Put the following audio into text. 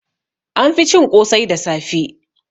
An fi cin ƙosai da safe